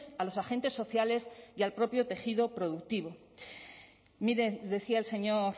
a los agentes sociales y al propio tejido productivo mire decía el señor